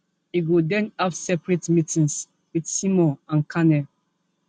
e go den have separate meetings wit simon and carney